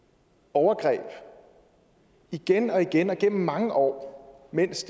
overgreb igen og igen og igennem mange år mens